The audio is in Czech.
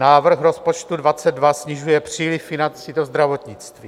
Návrh rozpočtu 2022 snižuje příliv financí do zdravotnictví.